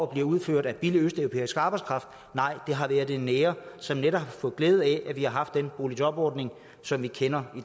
blevet udført af billig østeuropæisk arbejdskraft nej det har været det nære som netop har fået glæde af at vi har haft den boligjobordning som vi kender i